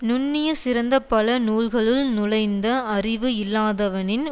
நுண்ணிய சிறந்த பல நூல்களுல் நுழைந்த அறிவு இல்லாதவனின்